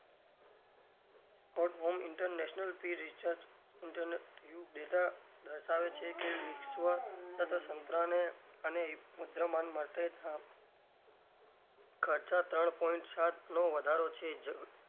sport worm international pre recharge data દર્શાવે છે કે વિશ્વ સાથે અને મુદ્રમાન માટે ખર્ચા ત્રણ point સાતનો વધારો છે.